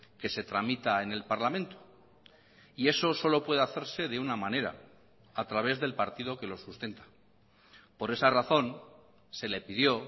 que se tramita en el parlamento y eso solo puede hacerse de una manera a través del partido que lo sustenta por esa razón se le pidió